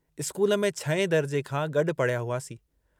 School में छहें दर्जे खां गॾु पढ़िया हुआसीं।